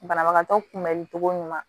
Banabagatɔ kunbɛnni cogo ɲuman